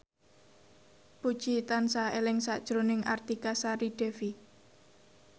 Puji tansah eling sakjroning Artika Sari Devi